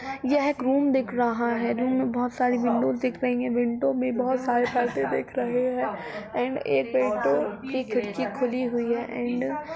यह एक रूम दिख रहा है रूम में बहुत सारी विन्डो दिख रही है विन्डो में बहुत सारे पर्दे दिख रहे है एंड एक विंडो की खिड़की खुली हुई है एण्ड --